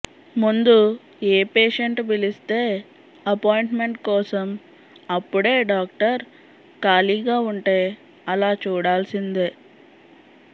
ముందు ఏ పేషేంటు పిలిస్తే అప్పాయింట్మెంట్ కోసం అప్పుడే డాక్టర్ ఖాళీగా ఉంటే అలా చూడాల్సిందే